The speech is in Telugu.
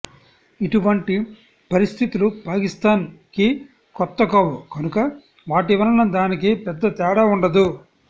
ఇటువంటి పరిస్థితులు పాకిస్తాన్ కి కొత్త కావు కనుక వాటి వలన దానికి పెద్ద తేడా ఉండదు